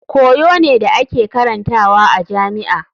Koyo ne da ake karantawa a jami'a.